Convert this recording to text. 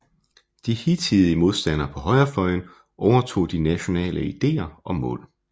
De hidtidige modstandere på højrefløjen overtog de nationale ideer og mål